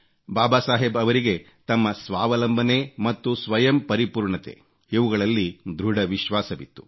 ಬಾಬಾ ಸಾಹೇಬ್ ಅವರಿಗೆ ತಮ್ಮ ಸ್ವಾವಲಂಬನೆ ಮತ್ತು ಸ್ವಯಂ ಪೂರ್ಣತೆ ಇವುಗಳಲ್ಲಿ ದೃಢ ವಿಶ್ವಾಸವಿತ್ತು